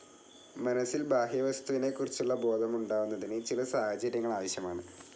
മനസിൽ, ബാഹ്യവസ്തുവിനെക്കുറിച്ചുളള ബോധം ഉണ്ടാവുന്നതിന് ചില സാഹചര്യങ്ങൾ ആവശ്യമാണ്.